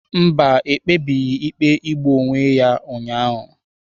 Mba, ekpebebeghi ikpe igbu onwe ya ụnyahụ.